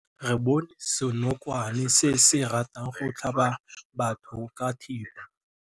Re bone senokwane se se ratang go tlhaba batho ka thipa.